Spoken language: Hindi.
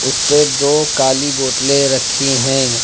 उस पे दो काली बोतलें रखी हैं।